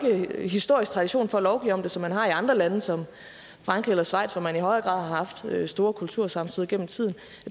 historisk ikke tradition for at lovgive om det som man har i andre lande som frankrig eller schweiz hvor man i højere grad har haft store kultursammenstød gennem tiden og